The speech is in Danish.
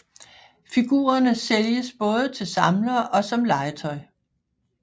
Figurerne sælges både til samlere og som legetøj